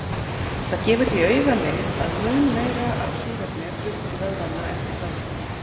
Það gefur því augaleið að mun meira af súrefni er flutt til vöðvanna eftir þjálfun.